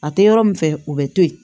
A tɛ yɔrɔ min fɛ u bɛ to yen